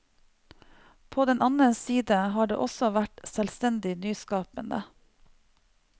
På den annen side har det også vært selvstendig nyskapende.